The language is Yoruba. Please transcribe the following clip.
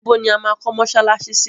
Ìbò ni a máa kọ́ mọsálásí sí?